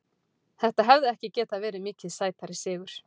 Þetta hefði ekki getað verið mikið sætari sigur.